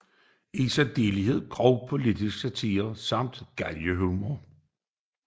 I særdeleshed grov politisk satire samt galgenhumor